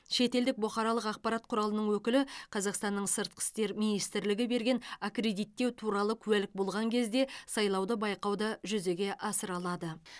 шетелдік бұқаралық ақпарат құралының өкілі қазақстанның сыртқы істер министрлігі берген аккредиттеу туралы куәлік болған кезде сайлауды байқауды жүзеге асыра алады